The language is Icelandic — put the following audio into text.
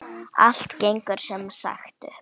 Allt gengur sem sagt upp!